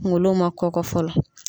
Kunkolo ma kɔkɔ fɔlɔ.